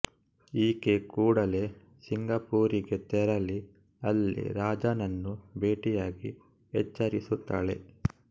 ಈಕೆ ಕೂಡಲೇ ಸಿಂಗಪೂರಿಗೆ ತೆರಳಿ ಅಲ್ಲಿ ರಾಜಾನನ್ನು ಭೇಟಿಯಾಗಿ ಎಚ್ಚರಿಸುತ್ತಾಳೆ